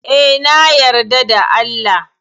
Eh, na yarda da Allah.